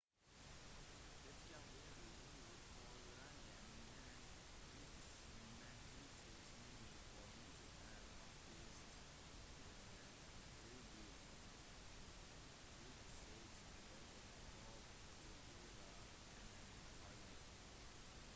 det kan være litt forvirrende men 35mm-formatet er faktisk 36 mm i bredden og 24 mm i høyden